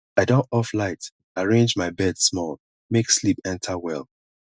i don off light arrange my bed small make sleep enta well